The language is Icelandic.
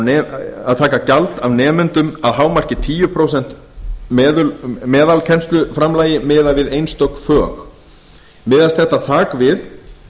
heimilt að taka gjald af nemendum að hámarki tíu prósent meðalkennsluframlagi miðað við einstök auk miðast ekki þak við